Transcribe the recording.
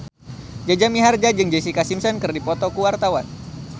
Jaja Mihardja jeung Jessica Simpson keur dipoto ku wartawan